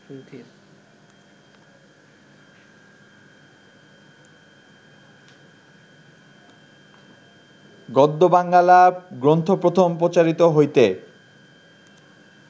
গদ্য বাঙ্গালা গ্রন্থ প্রথম প্রচারিত হইতে